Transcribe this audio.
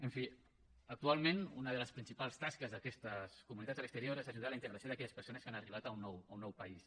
en fi actualment una de les principals tasques d’aquestes comunitats a l’exterior és ajudar a la integració d’aquelles persones que han arribat a un nou país